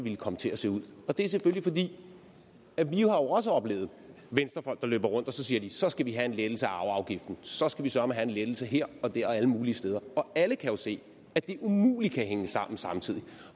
ville komme til at se ud og det er selvfølgelig fordi vi jo også har oplevet venstrefolk der løber rundt og siger så skal vi have en lettelse af arveafgiften så skal vi sørme have en lettelse her og der og alle mulige steder og alle kan jo se at det umuligt kan hænge sammen samtidig